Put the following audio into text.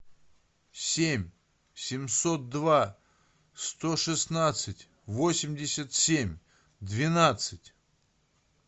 семь семьсот два сто шестнадцать восемьдесят семь двенадцать